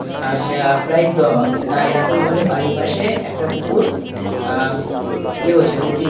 আশা prize দেওয়া হবে তাই এরকম আমাদের বাড়ির পাশে একটা কুকুর আ ইয়ে হয়েছিল উত্তীর্ণ--